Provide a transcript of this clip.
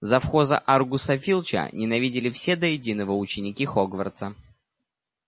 завхоза аргуса филча ненавидели все до единого ученики хогвартса